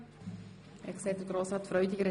Wie ich sehe, nickt Grossrat Freudiger.